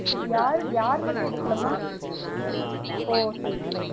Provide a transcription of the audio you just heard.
யார்? யாரு? மட்டு எடுக்கலாமா? ஓ சரி சரி